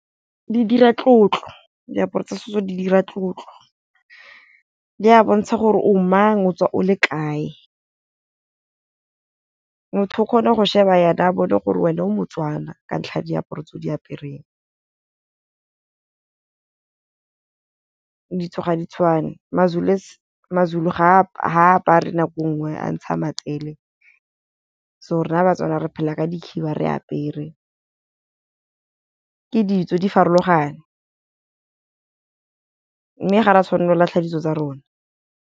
Di dira tlotlo diaparo tsa setso di dira tlotlo, di a bontsha gore o mang o tswa o le kae. Motho o kgone go sheba jana a bone gore wena o Motswana ka ntlha diaparo tseo di apereng. Ditso ga di tshwane ma-Zulu ga apare nako e ngwe a ntsha matsele so rona Batswana re phela ka dikhiba re apere, ke ditso di farologane mme ga ra tshwanela go latlha ditso tsa rona.